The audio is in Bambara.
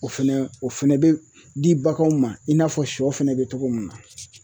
O fɛnɛ o fɛnɛ be di baganw ma i n'a fɔ sɔ fɛnɛ be togo min na